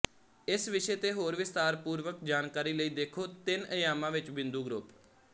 ਇਸ ਵਿਸ਼ੇ ਤੇ ਹੋਰ ਵਿਸਥਾਰਪੂਰਵਕ ਜਾਣਕਾਰੀ ਲਈ ਦੇਖੋ ਤਿੰਨ ਅਯਾਮਾਂ ਵਿੱਚ ਬਿੰਦੂ ਗਰੁੱਪ